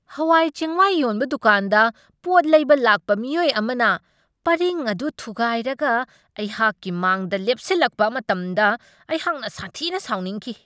ꯍꯋꯥꯏ ꯆꯦꯡꯋꯥꯏ ꯌꯣꯟꯕ ꯗꯨꯀꯥꯟꯗ ꯄꯣꯠ ꯂꯩꯕ ꯂꯥꯛꯄ ꯃꯤꯑꯣꯏ ꯑꯃꯅ ꯄꯔꯤꯡ ꯑꯗꯨ ꯊꯨꯒꯥꯏꯔꯒ ꯑꯩꯍꯥꯛꯀꯤ ꯃꯥꯡꯗ ꯂꯦꯞꯁꯤꯜꯂꯛꯄ ꯃꯇꯝꯗ ꯑꯩꯍꯥꯛꯅ ꯁꯥꯊꯤꯅ ꯁꯥꯎꯅꯤꯡꯈꯤ꯫